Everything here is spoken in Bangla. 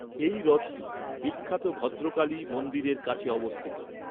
এই হ্রদটি বিখ্যাত ভদ্রকালী মন্দিরের কাছে অবস্থিত।